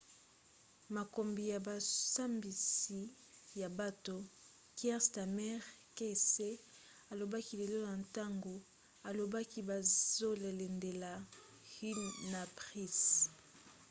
mokambi ya bosambisi ya bato kier starmer qc alobaki lelo na ntango alobaki bazolandela huhne na pryce